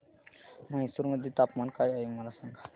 म्हैसूर मध्ये तापमान काय आहे मला सांगा